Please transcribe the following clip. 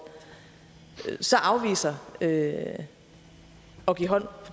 afviser at give hånd